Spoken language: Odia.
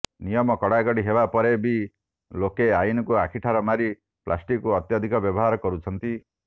ନିୟମ କଡାକଡି ହେବା ପରେ ବି ଲୋକେ ଆଇନକୁ ଆଖିଠାର ମାରି ପ୍ଲାଷ୍ଟିକକୁ ଅତ୍ୟଧିକ ବ୍ୟବହାର କରୁଛନ୍ତି